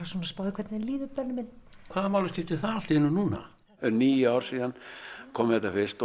í hvernig þér líður Benni minn hvaða máli skiptir það allt í einu núna það eru níu ár síðan hann kom með þetta fyrst